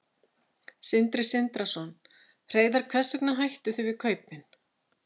Sindri Sindrason: Hreiðar hvers vegna hættuð þið við kaupin?